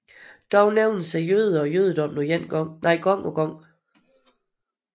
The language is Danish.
Dog nævnes jøderne og jødedommen gang på gang